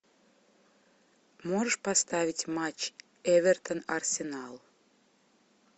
можешь поставить матч эвертон арсенал